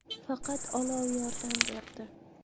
Faqat olov yordam berdi.